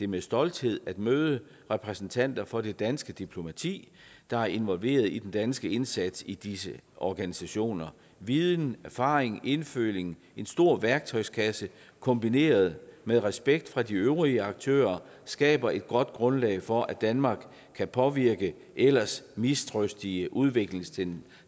med stolthed møder repræsentanter for det danske diplomati der er involveret i den danske indsats i disse organisationer viden erfaring indføling en stor værktøjskasse kombineret med respekt fra de øvrige aktører skaber et godt grundlag for at danmark kan påvirke ellers mistrøstige udviklingstendenser